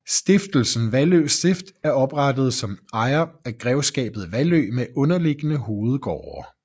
Stiftelsen Vallø Stift er oprettet som ejer af grevskabet Vallø med underliggende hovedgårde